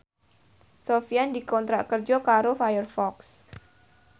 Sofyan dikontrak kerja karo Firefox